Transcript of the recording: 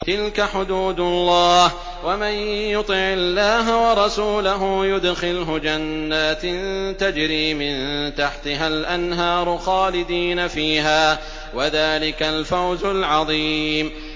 تِلْكَ حُدُودُ اللَّهِ ۚ وَمَن يُطِعِ اللَّهَ وَرَسُولَهُ يُدْخِلْهُ جَنَّاتٍ تَجْرِي مِن تَحْتِهَا الْأَنْهَارُ خَالِدِينَ فِيهَا ۚ وَذَٰلِكَ الْفَوْزُ الْعَظِيمُ